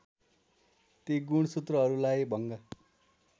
ती गुणसूत्रहरूलाई भङ्ग